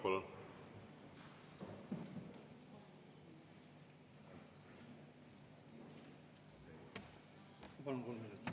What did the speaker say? Palun!